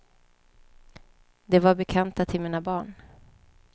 Det var bekanta till mina barn.